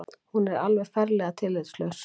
Hún er alveg ferlega tillitslaus